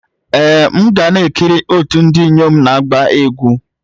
Ee m ga na-ekiri otu ndị inyom na-agba egwu.